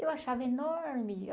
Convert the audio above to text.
Eu achava enorme.